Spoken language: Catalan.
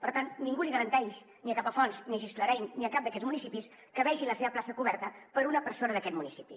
per tant ningú garanteix ni a capafonts ni a gisclareny ni a cap d’aquests municipis que vegin la seva plaça coberta per una persona d’aquest municipi